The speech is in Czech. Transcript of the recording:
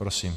Prosím.